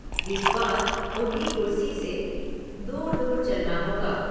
इस बार उन्हें कुर्सी से दूर दूर चलना होगा। ।